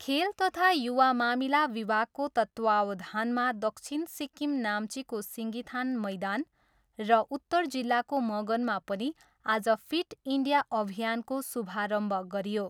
खेल तथा युवा मामिला विभागको तत्त्वावधानमा दक्षिण सिक्किम नाम्चीको सिङ्गिथाङ मैदान र उत्तर जिल्लाको मगनमा पनि आज फिट इन्डिया अभियानको शुभारम्भ गरियो।